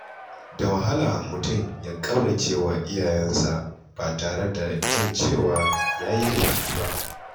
Da wahala mutum ya ƙaurace wa iyayensa ba tare da jin cewa ya yi laifi ba.